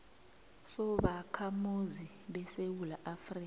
sobakhamuzi besewula afrika